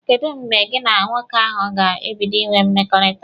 Kedụ mgbe gị na nwoke ahụ ga-ebido inwe mkpakọrịta?